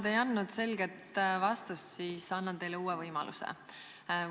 Te ei andnud selget vastust, aga annan teile uue võimaluse.